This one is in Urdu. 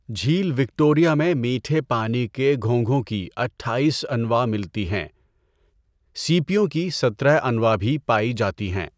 جھیل وکٹوریہ میں میٹھے پانی کے گھونگھوں کی اٹھائیس انواع ملتی ہیں۔ سیپیوں کی سترہ انواع بھی پائی جاتی ہیں۔